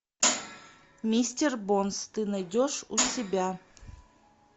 мистер бонс ты найдешь у себя